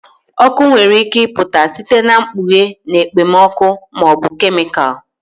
Ọkụ nwere ike ịpụta site na ikpughe na okpomọkụ ma ọ bụ kemịkalụ